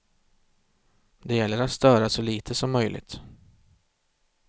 Det gäller att störa så lite som möjligt.